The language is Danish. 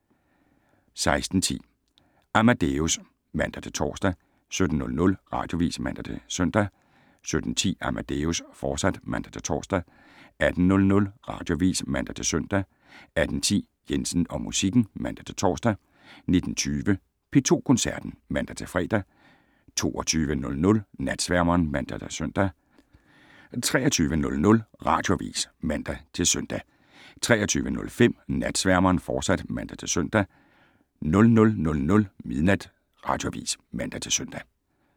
16:10: Amadeus (man-tor) 17:00: Radioavis (man-søn) 17:10: Amadeus, fortsat (man-tor) 18:00: Radioavis (man-søn) 18:10: Jensen og musikken (man-tor) 19:20: P2 Koncerten (man-fre) 22:00: Natsværmeren (man-søn) 23:00: Radioavis (man-søn) 23:05: Natsværmeren, fortsat (man-søn) 00:00: Radioavis (man-søn)